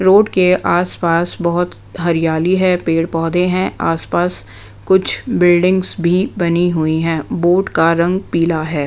Road के आस-पास बहोत हरियाली है पेड़-पौधे हैं आस-पास कुछ बिल्डिंग्स भी बनी हुई हैं बोट का रंग पीला है।